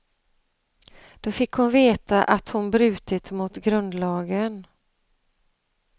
Då fick hon veta att hon brutit mot grundlagen.